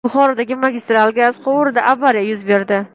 Buxorodagi magistral gaz quvurida avariya yuz berdi.